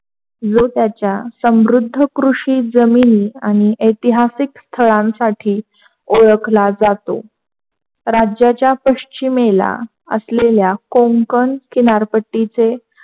कृषी जमिनी आणि ऐतिहासिक शाळांसाठी ओळखला जातो, राज्याच्या पश्चिमेला आपल्या या कोंकण किनारपट्टीचे,